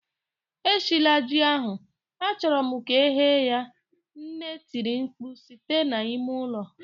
Eshila ji ahu! Achọrọ m ka e ghee ya, nne tiri mkpu site na ime ụlọ